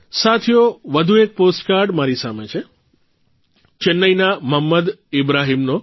સાથીઓ વધુ એક પોસ્ટકાર્ડ મારી સામે છે ચેન્નાઇના મોહંમદ ઇબ્રાહીમનો